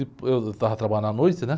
Eu estava trabalhando à noite, né?